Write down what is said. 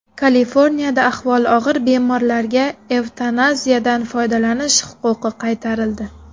Kaliforniyada ahvoli og‘ir bemorlarga evtanaziyadan foydalanish huquqi qaytarildi.